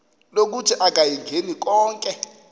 lokuthi akayingeni konke